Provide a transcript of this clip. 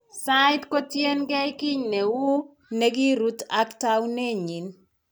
Sait ko tien keey kiiy ne wuu ne kirut ak taakunet niny.